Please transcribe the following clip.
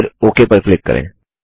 फिर ओक पर क्लिक करें